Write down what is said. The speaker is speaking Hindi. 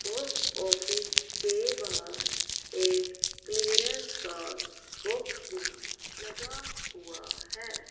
पोस्ट ऑफिस के बाहर एक क्लीयरेंस का बॉक्स भी लगा हुआ है।